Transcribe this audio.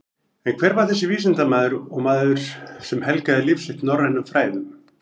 En hver var þessi vísindamaður og maður sem helgaði líf sitt norrænum fræðum?